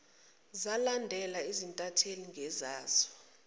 zalandela izintatheli ngezazo